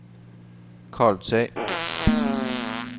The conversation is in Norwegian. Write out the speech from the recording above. Karlsøy